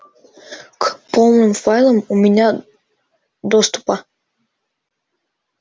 к полным файлам у меня доступа